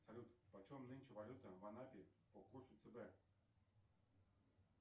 салют по чем нынче валюта в анапе по курсу цб